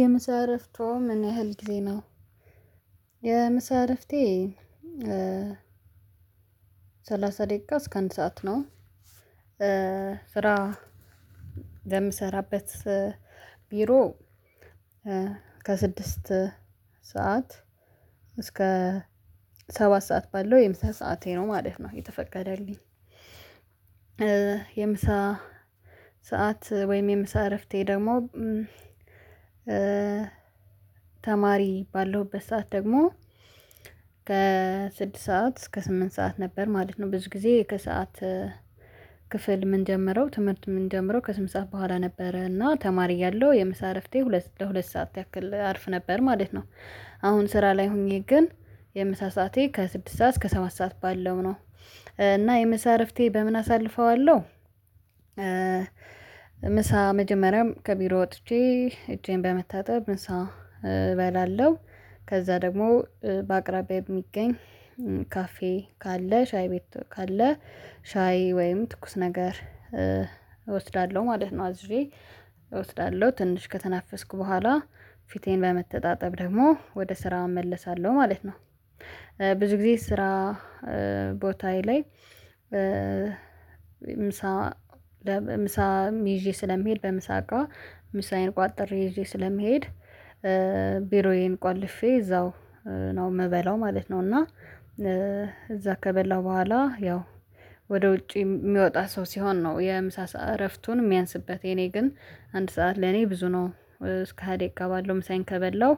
የምሳ እረፍቶ ምን ያህል ጊዜ ነው? የምሳ እረፍቴ ሰላሳ ደቂቃ እስከ አንድ ሰዓት ነው። ስራ የምሰራበት ቢሮ ከስድስት ሰዓት እስከ ሰባት ሰዓት ባለው የምሳ ሰዓቴ ነው ማለት ነው የተፈቀደልኝ። የምሳ ሰዓት ወይም የምሳ እረፍቴ ደግሞ ተማሪ ባለሁበት ሰዓት ደግሞ ከስድስት ሰዓት እስከ ስምንት ሰዓት ነበር ማለት ነው። ብዙ ጊዜ ከሰአት ክፍል ምንጀምረው ትምህርት ምንጀምረው ከስምንት ሰዓት በኋላ ነበረ እና ተማሪ እያለው የምሳ እረፍቴ ሁለት ለሁለት ሰዓት ያክል አርፍ ነበር ማለት ነው። አሁን ስራ ላይ ሆኜ ግን የምሳ ሰዓቴ ከስድስት ሰዓት እስከ ሰባት ሰዓት ባለው ነው እና የምሳ እረፍቴ በምን አሳልፈዋለሁ። ምሳ መጀመሪያም ከቢሮ ወጥቼ እጄን በመታጠብ ምሳ እበላለሁ። ከዛ ደግሞ በአቅራቢያ የሚገኝ ካፌ ካለ ሻይ ቤት ካለ ሻይ ወይም ትኩስ ነገር እወስዳለሁ ማለት ነው። አዝዤ እወስዳለሁ ትንሽ ከተናፈስኩ በኋላ ፊቴን በመተጣጠብ ደግሞ ወደ ስራ እመለሳለሁ ማለት ነው። ብዙ ጊዜ ስራ ቦታዬ ላይ ምሳ ምሳም ይዤ ስለሚሄድ በምሳ እቃ ምሳዬን ቋጥሬ ዪዤ ስለምሄድ ቢሮዬን ቆልፌ እዛው ነው የምበላው ማለት ነው። እና እዛ ከበላው በኋላ ያው ወደ ውጪ የሚወጣ ሰው ሲሆን ነው የምሳ እረፍቱን የሚያንስበት የኔ ግን አንድ ሰዓት ለኔ ብዙ ነው። እስከ ሃያ ደቂቃ ባለው ምሳዬን ከበላው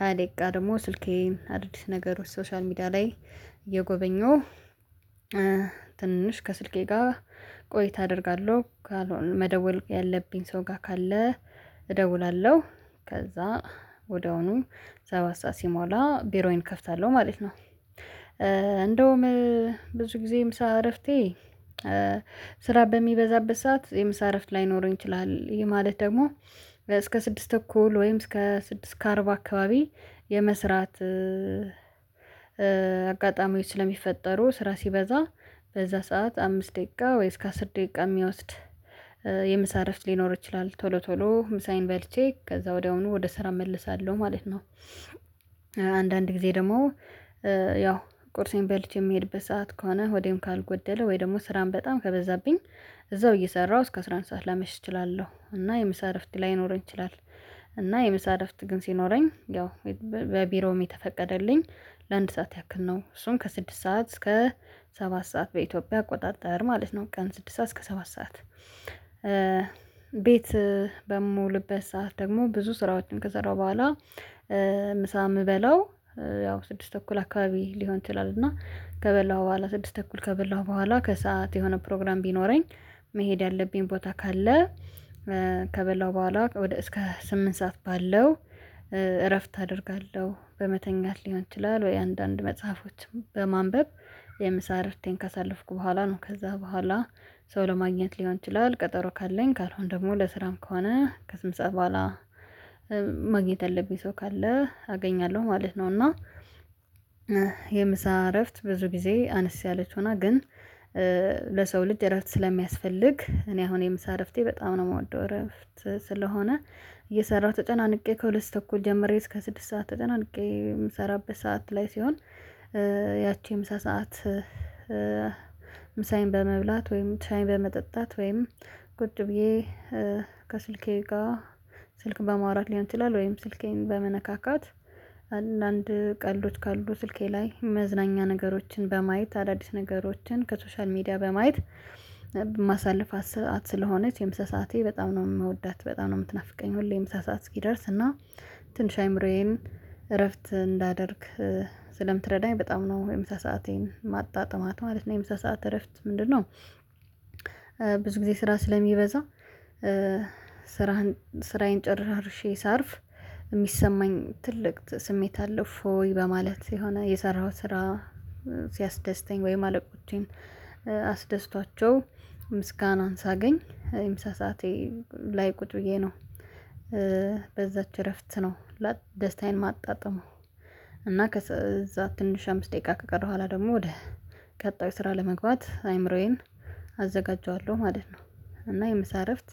ሃያ ደቂቃ ደግሞ ስልኬን አድርጌ ነገሮች ሶሻል ሚዲያ ላይ እየጎበኘው ትንሽ ከስልኬ ጋር ቆይታ አደርጋለሁ ካልሆነ መደወል ያለብኝ ሰው ጋር ካለ እደውላለሁ። ከዛ ወዲያውኑ ሰባት ሰዓት ሲሞላ ቢሮዬን እከፍታለሁ ማለት ነው። እንደውም ብዙ ጊዜ ምሳ እረፍቴ ስራ በሚበዛበት ሰዓት የምሳ እረፍት ላይኖረኝ ይችላል። ይሄ ማለት ደግሞ እስከ ስድስት ተኩል ወይም እስከ ስድስት ከአርባ አካባቢ የመስራት አጋጣሚዎች ስለሚፈጠሩ ስራ ሲበዛ በዛ ሰዓት አምስት ደቂቃ ወይም እስከ አሥር ደቂቃ የሚወስድ የምሳ እረፍ ሊኖር ይችላል። ቶሎ ቶሎ ምሳዬን በልቼ ከዛ ወዲያውኑ ወደ ስራ እመለሳለሁ ማለት ነው። አንዳንድ ጊዜ ደግሞ ያው ቁርሴን በልቼ የምሄድበት ሰዓት ከሆነ ሆዴም ካልጎደለ ወይም ደግሞ ስራም በጣም ከበዛብኝ እዛው እየሰራሁ እስከ አስራ አንድ ሰዓት ላመሽ እችላለሁ እና የምሳ እረፍት ላይኖረኝ ይችላል። እና የምሳ እረፍት ግን ሲኖረኝ ያው በቢሮም የተፈቀደልኝ ለአንድ ሰዓት ያክል ነው እሱም ከስድስት ሰዓት እስከ ሰባት ሰዓት በኢትዮጵያ አቆጣጠር ማለት ነው። ቀን ስድስት ሰዓት እስከ ሰባት ሰዓት ቤት በምውልበት ሰዓት ደግሞ ብዙ ስራዎችን ከሰራው በኋላ ምሳ የምበላው ያው ስድስት ተኩል አካባቢ ሊሆን ይችላል። እና ከበላሁ በኋላ ስድስት ተኩል ከበላሁ በኋላ ከሰአት የሆነ ፕሮግራም ቢኖረኝ መሄድ ያለብኝ ቦታ ካለ ከበላው በኋላ እስከ ስምንት ሰዓት ባለው እረፍት አደርጋለሁ በመተኛት ሊሆን ይችላል። ወይም አንዳንድ መጽሐፎችም በማንበብ የምሳ እረፍቴን ካሳለፍኩ በኋላ ነው ከዛ በኋላ ሰው ለማግኘት ሊሆን ይችላል ቀጠሮ ካለኝ ካልሆነ ደግሞ ለስራም ከሆነ ከስምንት ሰዓት በኋላ ማግኘት ያለብኝ ሰው ካለ አገኛለሁ ማለት ነው። እና የምሳ እረፍት ብዙ ጊዜ አነስ ያለች ሆና ግን ለሰው ልጅ እረፍት ስለሚያስፈልግ እኔ አሁን የምሳ እረፍቴን በጣም ነው የምወደው እረፍት ስለሆነ። እየሰራሁ ተጨናንቄ ከሁለት ተኩል ጀምሬ እስከ ስድስት ሰዓት ተጨናንቄ የምሰራበት ሰዓት ላይ ሲሆን ያቺ የምሳ ሰዓት ምሳዬን በመብላት ወይም ሻይ በመጠጣት ወይም ቁጭ ብዬ ከስልኬ ጋር ስልክ በማውራት ሊሆን ይችላል። ወይም ስልኬን በመነካካት አንዳንድ ቀልዶች ካሉ ስልኬ ላይ መዝናኛ ነገሮችን በማየት አዳዲስ ነገሮችን ከሶሻል ሚዲያ በማየት ማሳልፋት ሰዓት ስለሆነች የምሳ ሰዓቴ በጣም ነው የምወዳት በጣም ነው የምትናፍቀኝ። ሁሌ ምሳ ሰዓት እስኪደርስ እና ትንሽ አይምሮዬን እረፍት እንዳደርግ ስለምትረዳኝ በጣም ነው የምሳ ሰአቴን ማጣጥማት ማለት ነው። የምሳ ሰዓት እረፍት ምንድነው? ብዙ ጊዜ ስራ ስለሚበዛ ስራህን ስራዬን ጨራርሼ ሳርፍ የሚሰማኝ ትልቅ ስሜት አለ። እፎይ በማለት የሆነ የሰራኸው ስራ ሲያስደስተኝ ወይም አለቆቼን አስደስቷቸው ምስጋናን ሳገኝ የምሳ ሰዓቴ ላይ ቁጭ ብዬ ነው። በዛች እረፍት ነው። ደስታዬን ማጣጥመው እና ከዛ ትንሽ አምስት ደቂቃ ከቀረው በኋላ ደግሞ ወደ ቀጣዩ ስራ ለመግባት አይምሮዬን አዘጋጀዋለሁ ማለት ነው። እና የምሳ እረፍት